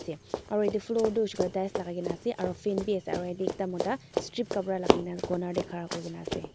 aru etu floor tu hoise koiley tiles lagai ke na ase aru fan bhi ase aru ekta mota strip kapra lagai na corner teh khara kuri kena ase.